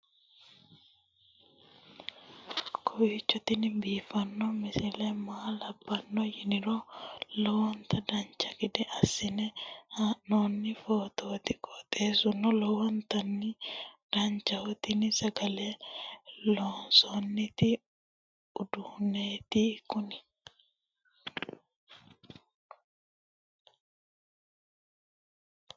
kowiicho tini biiffanno misile maa labbanno yiniro lowonta dancha gede assine haa'noonni foototi qoxeessuno lowonta danachaho. tini sagale loomnsanni uduunneeti kuni